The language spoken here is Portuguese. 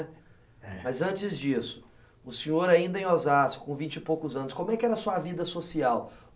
É. Mas antes disso, o senhor ainda em Osasco, com vinte e poucos anos, como é que era a sua vida social?